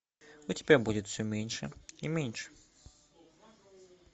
у тебя будет все меньше и меньше